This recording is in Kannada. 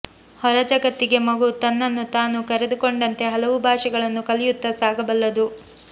ಹೊರಜಗತ್ತಿಗೆ ಮಗು ತನ್ನನ್ನು ತಾನು ತೆರೆದುಕೊಂಡಂತೆ ಹಲವು ಭಾಷೆಗಳನ್ನೂ ಕಲಿಯುತ್ತಾ ಸಾಗಬಲ್ಲದು